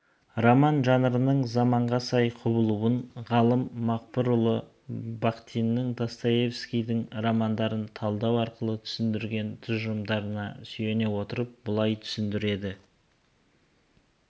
роман жанрының заманға сай құбылыуын ғалым мақпырұлы бахтиннің достоевкийдің романдарын талдау арқылы түсіндірген тұжырымдарына сүйене отырып былай түсіндіреді